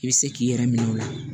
I bɛ se k'i yɛrɛ minɛ o la